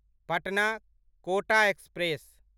Patna Kota express